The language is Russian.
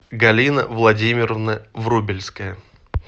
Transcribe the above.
галина владимировна врубельская